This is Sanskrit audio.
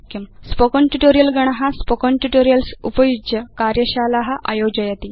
स्पोकेन ट्यूटोरियल् गण स्पोकेन ट्यूटोरियल्स् उपयुज्य कार्यशाला आयोजयति